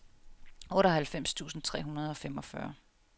otteoghalvfems tusind tre hundrede og femogfyrre